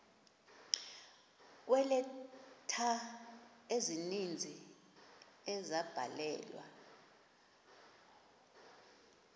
kweeleta ezininzi ezabhalelwa